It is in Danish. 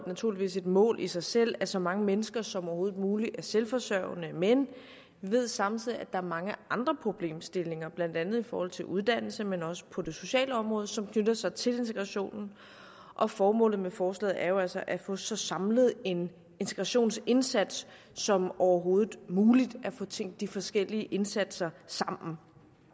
naturligvis et mål i sig selv at så mange mennesker som overhovedet muligt er selvforsørgende men vi ved samtidig at er mange andre problemstillinger blandt andet i forhold til uddannelse men også på det sociale område som knytter sig til integrationen og formålet med forslaget er jo altså at få en så samlet integrationsindsats som overhovedet muligt altså at få tænkt de forskellige indsatser sammen